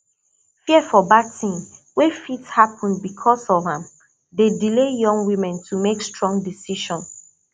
fear for bad thing wey fit happen because of am dey delay young women to make stong decision